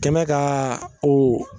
Kɛmɛ kaa o